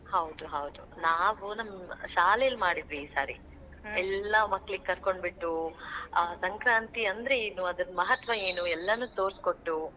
ಹೌದು ಹಾದ್, ನಾವೂ ನಮ್ ಶಾಲೇಲ್ ಮಾಡಿದ್ವಿ ಈ ಸಾರಿ, ಮಕ್ಳಿಗೆ ಕರ್ಕೊಂಡ್ ಬಿಟ್ಟು, ಆ ಸಂಕ್ರಾಂತಿ ಅಂದ್ರೇನು, ಅದರ ಮಹತ್ವ ಏನು? ಎಲ್ಲಾನೂ ತೋರ್ಸಿಕೊಟ್ಟು.